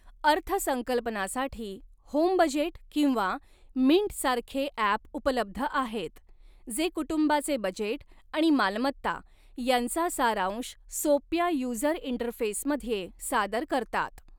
अर्थसंकल्पनासाठी, Home Budget किंवा Mint सारखे app उपलब्ध आहेत, जे कुटुंबाचे बजेट आणि मालमत्ता यांचा सारांश सोप्या युजर इंटरफेसमध्ये सादर करतात.